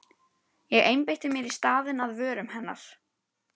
Ég einbeiti mér í staðinn að vörum hennar.